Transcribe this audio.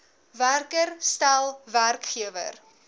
werker stel werkgewer